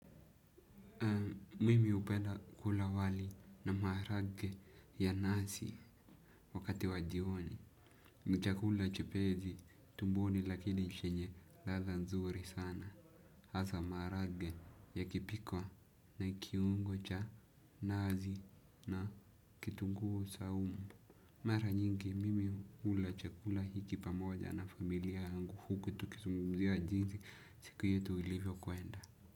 Mimi hupenda kula wali na maharage ya nazi wakati wa jioni. Ni chakula chepesi tumboni lakili chenye ladha nzuri sana. Hasa maharage yakipikwa na kiungo cha nazi na kitunguu saumu. Mara nyingi mimi hula chakula hiki pamoja na familia yangu huku tukizungumzia jinsi siku yetu ilivyokwenda.